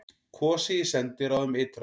Kosið í sendiráðum ytra